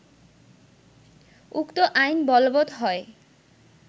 উক্ত আইন বলবৎ হয়